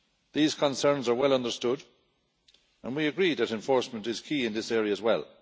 These concerns are well understood, and we agree that enforcement is key in this area as well.